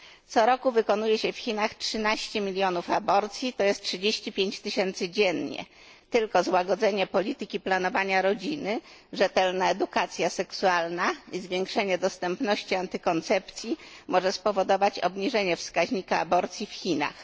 Co roku wykonuje się w Chinach 13 milionów aborcji tj. 35 tysięcy dziennie. Tylko złagodzenie polityki planowania rodziny, rzetelna edukacja seksualna i zwiększenie dostępności antykoncepcji może spowodować obniżenie wskaźnika aborcji w Chinach.